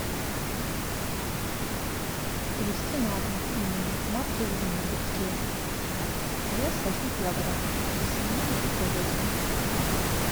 привезти на дом пельмени марки звениговские вес один килограмм из свинины и говядины